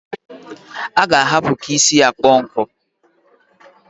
A g' ahapu ka isi ya kpọọ nkụ.